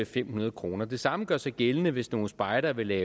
fem hundrede kroner det samme gør sig gældende hvis nogle spejdere vil